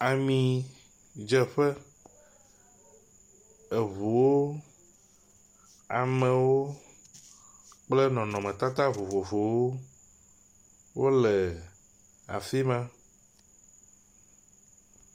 Nyɔnu eve kpakple ɖevi woame etɔ̃ wo nɔ emɔmidzraƒe enɔ moto dzɔ be woava tso emɔ me ne yewoateŋu atso mɔ me, ye wo megbea; eʋu aɖe yike be amadede nye gbemu ele wo megbe